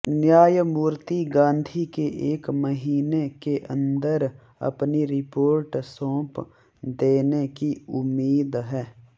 न्यायमूर्ति गांधी के एक महीने के अंदर अपनी रिपोर्ट सौंप देने की उम्मीद है